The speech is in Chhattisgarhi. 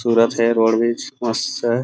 और रोड भी है बीच मस्त